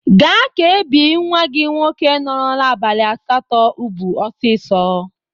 Ga ka ebi nwa gị nwoke norola abalị asatọ ubu osisio!